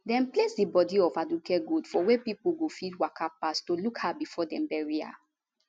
dem place di bodi of aduke gold for wia pipo go fit waka pass to look her bifor dem bury her